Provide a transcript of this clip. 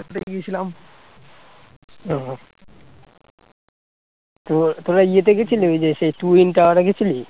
তোরা ইয়ে তে গিয়েছিলি ওই যে সেই twin tower এ গিয়েছিলি